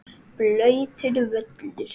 Blautur völlur.